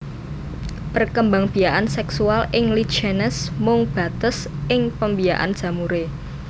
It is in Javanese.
Perkembangbiakan seksual ing Lichenes mung bates ing pembiakan jamuré